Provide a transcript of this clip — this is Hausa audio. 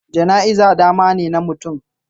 Jana'iza damane na mutum